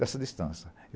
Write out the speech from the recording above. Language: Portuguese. Dessa distância.